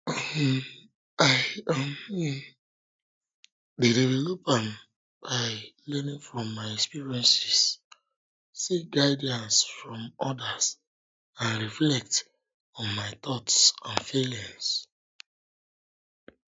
um i um dey develop am by learning from my experiences seek guidance from odas and reflect on my thoughts and feelings